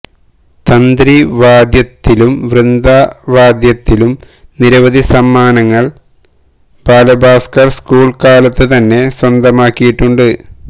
തന്ത്രി വാദ്യത്തിലും വൃന്ദവാദ്യത്തിലും നിരവധി സമ്മാനങ്ങള് ബാലഭാസ്കര് സ്കൂള് കാലത്ത് തന്നെ സ്വന്ചതമാക്കിയിട്ടുണ്ട്